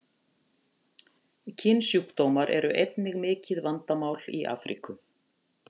Kynsjúkdómar eru einnig mikið vandamál í Afríku.